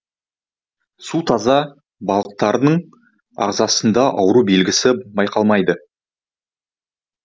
су таза балықтардың ағзасында ауру белгісі байқалмайды